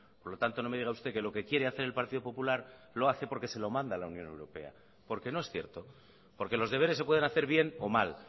por lo tanto no me diga usted que lo que quiere hacer el partido popular lo hace porque se lo manda la unión europea porque no es cierto porque los deberes se pueden hacer bien o mal